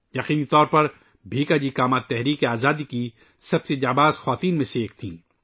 '' یقیناً بھیکاجی کاما تحریک آزادی کی سب سے بہادر خواتین میں سے ایک تھیں